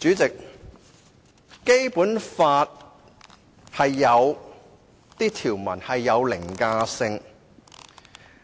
主席，《基本法》有部分條文具凌駕性，